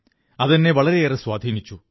അതെന്നെ വളരെയേറെ സ്വാധീനിച്ചു